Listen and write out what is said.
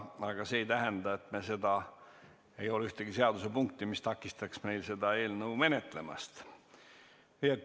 Aga see ei tähenda, et oleks ühtegi seadusepunkti, mis takistaks meil seda eelnõu menetlemast.